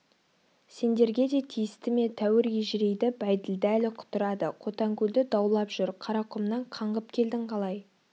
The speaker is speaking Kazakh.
сендерге де тиісті ме тәуір ежірейді бәйділда әлі құтырады қотанкөлді даулап жүр қарақұмнан қаңғып келдің қалай